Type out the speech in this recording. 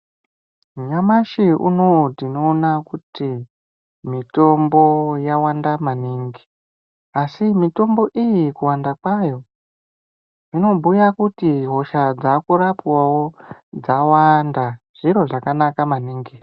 Nyamashi unou tinoona kuti mitombo yawanda maningi asi mitombo iyi kuwanda kwayo zvinobhuya kuti hosha dzakurapwawo dzawanda zviro zvakanaka maningi.